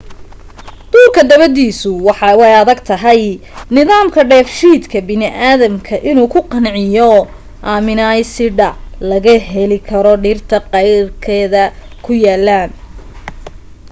duurka dabadiisu waa ay adag tahay nimandka dheef shiidka bini aadamka inuu ku qanciyo amina aysidha laga heli karo dhirta qeyradka ku yalaan